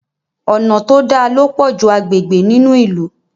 Ọnà to dá ló pojú agbègbè nínú ilú.